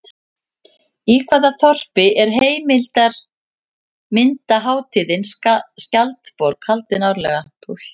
Í hvaða þorpi er heimildarmyndarhátíðin Skjaldborg haldin árlega?